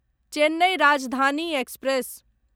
Chennai Rajdhani express